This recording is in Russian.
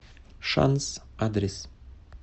шанс адрес